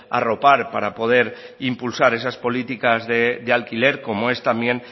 arropar para poder impulsar esas políticas de alquiler como es también